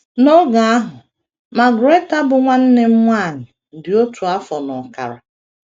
N’oge ahụ, Margaretha, bụ́ nwanne m nwanyị, di otu afọ na ọkara.